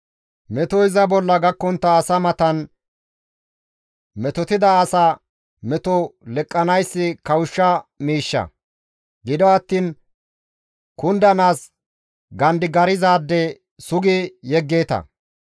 Metoy iza bolla gakkontta asa matan metotida asa meto leqqanayssi kawushsha miishsha; gido attiin kundanaas gandigarzaade sugi yeggeeta.